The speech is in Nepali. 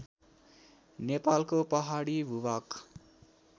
नेपालको पहाडी भूभाग